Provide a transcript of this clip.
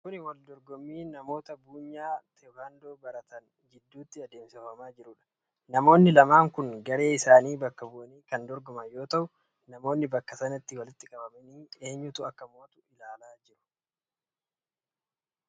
Kun waldorgommii wal lola namoota ispoortii teekwaandoo baratan gidduuti. Namoonni lamaan kun garee isaanii bakka bu'anii kan dorgoman yoo ta'u, namoonni bakka sanatti walitti qabamanii eentu akka mo'atu ilaalaa jiru.